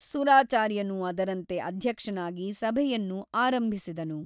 ಸುರಾಚಾರ್ಯನು ಅದರಂತೆ ಅಧ್ಯಕ್ಷನಾಗಿ ಸಭೆಯನ್ನು ಆರಂಭಿಸಿದನು.